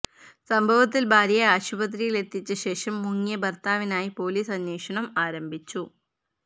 സംഭവത്തിൽ ഭാര്യയെ ആശുപത്രിയിൽ എത്തിച്ച ശേഷം മുങ്ങിയ ഭർത്താവിനായി പൊലീസ് അന്വേഷണം ആരംഭിച്ചു